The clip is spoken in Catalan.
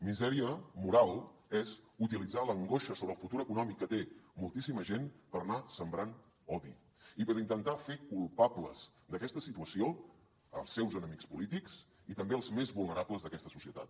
misèria moral és utilitzar l’angoixa sobre el futur econòmic que té moltíssima gent per anar sembrant odi i per intentar fer culpables d’aquesta situació els seus enemics polítics i també els més vulnerables d’aquesta societat